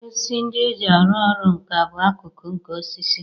Osisi ndị e ji arụ ọrụ nkà bụ akụkụ nke osisi